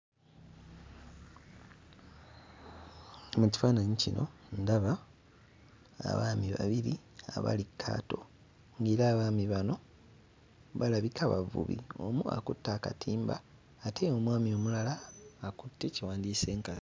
Mu kifaananyi kino ndaba abaami babiri abali ku kaato ng'era abaami bano balabika bavubi. Omu akutte akatimba ate omwami omulala akutte kye wandiyise enkasi.